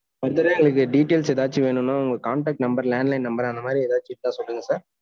further ஆ எதும் details ஏதாச்சும் வேணும்னா, உங்க contact number landline number அந்த மாதிரி, ஏதாச்சும் இருந்த சொல்லுங்க sir